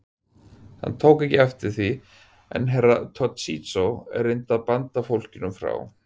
Hann tók ekki eftir því en Herra Toshizo reyndi að banda fólkinu frá.